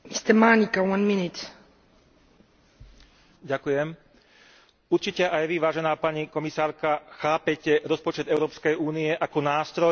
Určite aj Vy, vážená pani komisárka, chápete rozpočet Európskej únie ako nástroj, ktorý pomôže naštartovať hospodársky rast a vytvárať pracovné miesta.